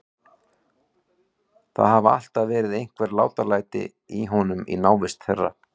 Það hafa alltaf verið einhver látalæti í honum í návist þeirra.